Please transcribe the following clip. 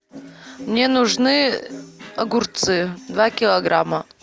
мне нужны огурцы два килограмма